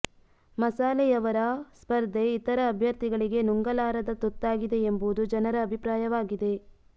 ಮಸಾಲೆಯವರ ಸ್ಪರ್ಧೆ ಇತರೆ ಅಭ್ಯರ್ಥಿಗಳಿಗೆ ನುಂಗಲಾರದ ತುತ್ತಾಗಿದೆ ಎಂಬುದು ಜನರ ಅಭಿಪ್ರಾಯವಾಗಿದೆ